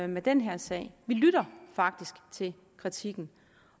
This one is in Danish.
med den her sag vi lytter faktisk til kritikken